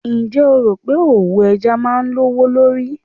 Ǹjẹ́ o rò pé òwò ẹja máa lówó lórí